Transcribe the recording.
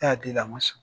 Ne y'a di a ma sɔn